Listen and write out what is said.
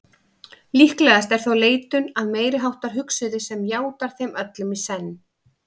Líklega er þó leitun að meiriháttar hugsuði sem játar þeim öllum í senn.